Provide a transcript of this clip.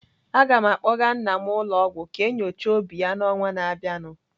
Aga m akpọga nna m ụlọ ọgwụ ka enyochaa obi ya n'ọnwa na abịanụ.